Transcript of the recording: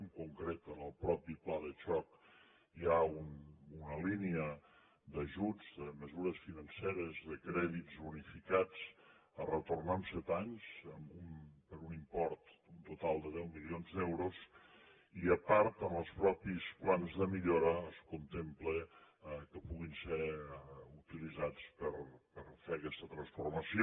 en concret en el mateix pla de xoc hi ha una línia d’ajuts de mesures financeres de crèdits unificats a retornar en set anys per un import total de deu milions d’euros i a part en els mateixos plans de millora es contempla que puguin ser utilitzats per fer aquesta transformació